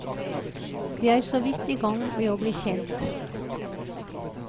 De er såvidt igang med å bli kjent.